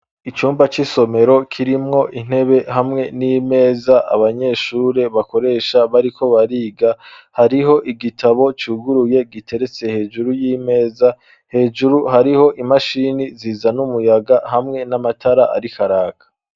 Icumba c'isomero kirimwo intebe hamwe n'imeza abanyeshure bakoresha bariko bariga hariho igitabo cuguruye giteretse hejuru y'imeza hejuru hariho imashini ziza n'umuyaga hamwe n'amatara arikaraka.